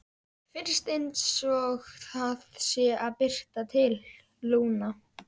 Mér finnst einsog það sé að birta til, Lúna.